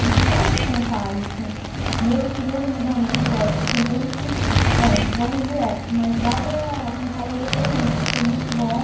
A gente quer contar isso, mesmo que resumidamente, lógico, tem coisas que a gente, não, vamos direto, mas dá para contar e eu gostei muito, foi muito bom.